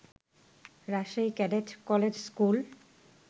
Rajshahi cadet college school